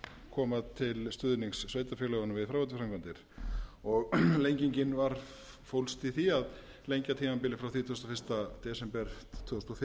koma til stuðnings sveitarfélögunum við fráveituframkvæmdir lengingin fólst í því að lengja tímabilið frá þrítugasta og fyrsta desember tvö þúsund og fimm til þrítugasta og fyrsta desember